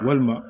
Walima